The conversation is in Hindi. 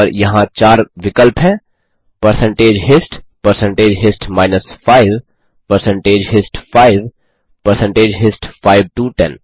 और यहाँ चार विकल्प हैं परसेंटेज histपरसेंटेज हिस्ट माइनस 5परसेंटेज हिस्ट 5परसेंटेज हिस्ट 5 टो 10